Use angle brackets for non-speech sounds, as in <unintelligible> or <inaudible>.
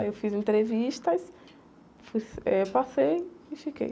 Aí eu fiz entrevistas, fui, <unintelligible> eh, passei e fiquei.